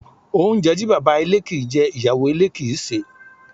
Oúnjẹ to baba ilé kin ń jẹ, iyawo ilé kin ń sẹ̀